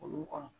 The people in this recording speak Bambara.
Olu kɔnɔ